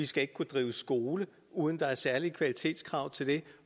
skal ikke kunne drive skole uden der er særlige kvalitetskrav til det